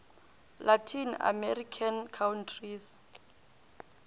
latin american countries